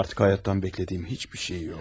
Artıq həyatdan beklədiyim heç bir şey yox.